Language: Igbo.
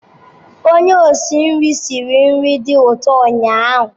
Onye osi nri siri nri dị ụtọ ụnyaahụ.